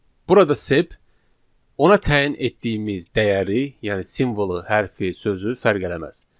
Burada sep ona təyin etdiyimiz dəyəri, yəni simvolu, hərfi, sözü fərq eləməz.